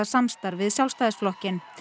samstarf við Sjálfstæðisflokkinn